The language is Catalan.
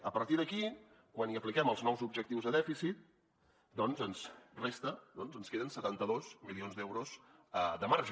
a partir d’aquí quan hi apliquem els nous objectius de dèficit doncs ens resta ens queden setanta dos milions d’euros de marge